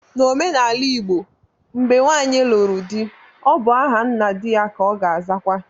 N'omenala igbo, mgbe nwanyi lụrụ di, ọ bụ aha nna di ya ka ọ ga azawa